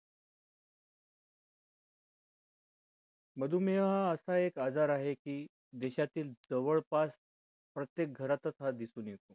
मधुमेहा असा एक आजार आहे की देशातील जवळपास प्रत्येक घरातच हा दिसून येतो